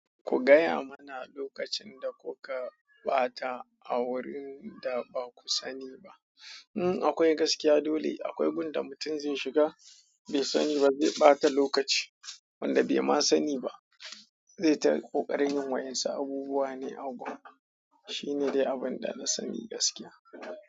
Ku gaya mana lokacin da kuka ɓata a wurin da ba ku sani ba. Hmm akwai gaskiya, dole akwai gun da mutum zai shiga bai sani ba, zai ɓata lokaci wanda bai ma sani ba, zai ta ƙoƙarin yin wayansu abubuwa ne a gun, shine dai abun da na sani gaskiya.